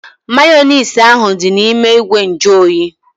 Mayonezi ahu dị n'ime ìgwè nju oyi